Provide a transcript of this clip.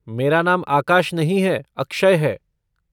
मेरा नाम आकाश नहीं है, अक्षय है।